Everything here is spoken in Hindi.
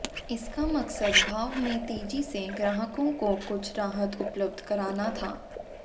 इसका मकसद भाव में तेजी से ग्राहकों को कुछ राहत उपलब्ध कराना था